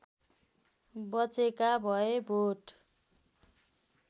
बचेका भए भोट